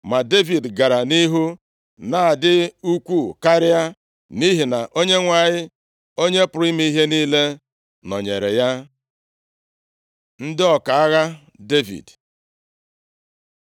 Ma Devid gara nʼihu na-adị ukwuu karịa, nʼihi na Onyenwe anyị, Onye pụrụ ime ihe niile, nọnyeere ya. Ndị ọka agha Devid